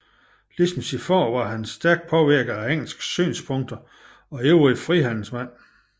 Ligesom sin fader var han stærkt påvirket af engelske synspunkter og ivrig frihandelsmand